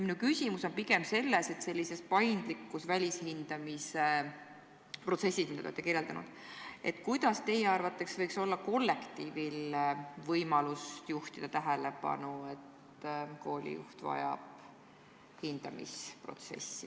Minu küsimus on pigem selles, kuidas sellises paindlikus välishindamisprotsessis, mida te olete kirjeldanud, võiks teie arvates olla kollektiivil võimalus juhtida tähelepanu sellele, et koolijuht vajab hindamist.